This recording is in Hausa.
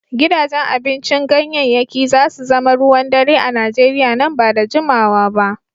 Gidajen abincin ganyayyaki za su zama ruwan dare a Nigeriya nan ba da jimawa ba.